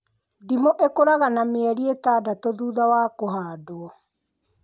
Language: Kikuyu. Ndimũ ikũraga na mĩeri ĩtandatũ thutha wa kũhandwo